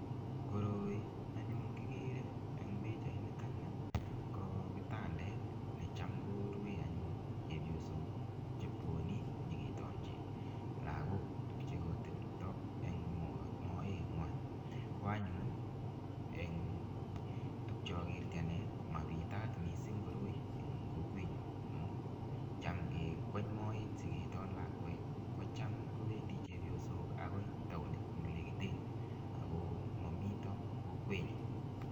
Koroi anyun kigere eng pichainito ni ko kitandet necham korue anyun chepyosok chebwone nyegetangchi lagok tuk che kotepto eng moengwai. Ko anyun eng tuk che kagerchi anne mapitat mising koroi eng kokwenyu amu cham kikweny moet sigiton lakwet ko cham kobendi chepyosok agoi taonit ne legite ago mamito kokwenyo.